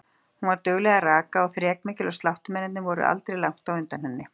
Hún var dugleg að raka og þrekmikil og sláttumennirnir voru aldrei langt á undan henni.